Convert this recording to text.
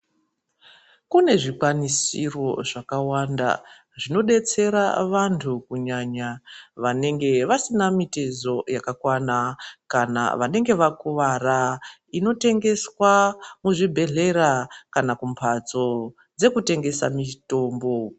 Kunezvikwanisiro zvakawanda zvinodetsera vantu kunyanya vanenge vasina mitezo yakakwana kana inenge yakuwara, inotengeswa muzvibhedhlera kana kumhatso dzekutengesa mitombo.